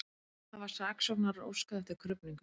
Hafa saksóknarar óskað eftir krufningu